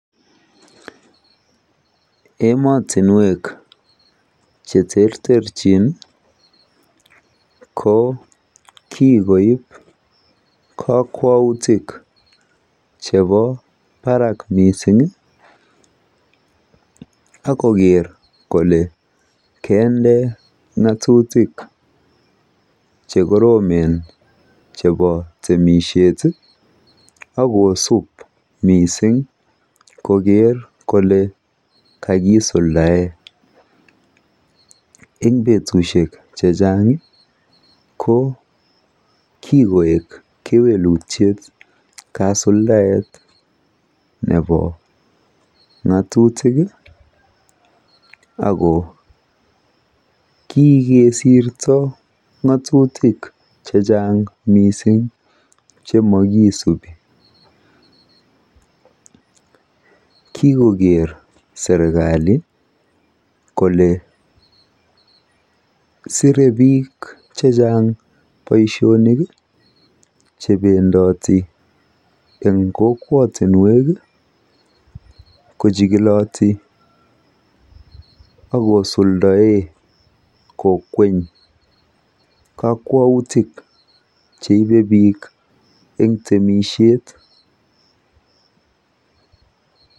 Ematinwek che terterchin ko kikoip kokwautik chebo barak mising ak koker kople kende ng'atutik chekoromen chebo temishet ak kosup mising koker kole kakisuldae. Eng petushek chechang ko kikoek keweluttiet kasuldaet nebo ng'atutik ako kikesirto ng'atutik chechang mising che makisupi. Kikoker serkali kole sirei biik chechang boishonik che pendati eng kokwatinwek kochikiloti ak kosuldoe kokwenyi kakwautik cheibei biik eng temishet.